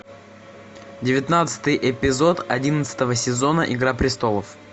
девятнадцатый эпизод одиннадцатого сезона игра престолов